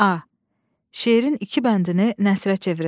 A. Şeirin iki bəndini nəsrə çevirin.